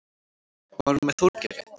Var hún með Þorgeiri?